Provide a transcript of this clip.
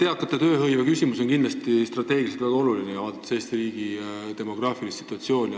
Eakate tööhõive on kindlasti ka strateegiliselt väga oluline, kui arvestada Eesti riigi demograafilist situatsiooni.